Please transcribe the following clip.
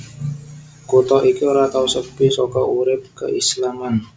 Kutha iki ora tau sepi saka urip keislaman